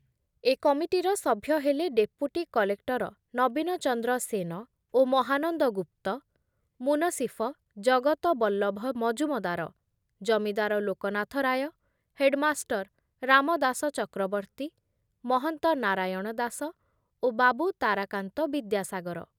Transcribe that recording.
ଏ କମିଟିର ସଭ୍ୟ ହେଲେ ଡେପୁଟି କଲେକ୍ଟର ନବୀନଚନ୍ଦ୍ର ସେନ ଓ ମହାନନ୍ଦ ଗୁପ୍ତ, ମୁନସିଫ ଜଗତ ବଲ୍ଲଭ ମଜୁମଦାର, ଜମିଦାର ଲୋକନାଥ ରାୟ, ହେଡ଼ମାଷ୍ଟର ରାମଦାସ ଚକ୍ରବର୍ତୀ, ମହନ୍ତ ନାରାୟଣ ଦାସ ଓ ବାବୁ ତାରାକାନ୍ତ ବିଦ୍ୟାସାଗର ।